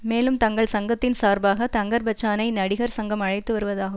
மேலும் தங்கள் சங்கத்தின் சார்பாக தங்கர்பச்சானை நடிகர் சங்கம் அழைத்து வருவதாக